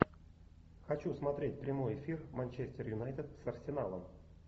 хочу смотреть прямой эфир манчестер юнайтед с арсеналом